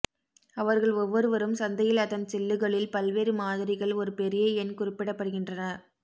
அவர்கள் ஒவ்வொருவரும் சந்தையில் அதன் சில்லுகளில் பல்வேறு மாதிரிகள் ஒரு பெரிய எண் குறிப்பிடப்படுகின்றன